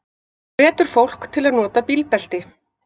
Hvetur fólk til að nota bílbelti